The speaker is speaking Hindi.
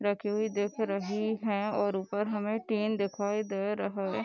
रखी हुई दिख रही हैं और ऊपर हमें टीन दिखाई दे रहा है।